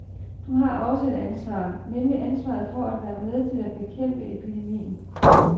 Du har også et ansvar, nemlig ansvaret for at være med til at bekæmpe epidemien.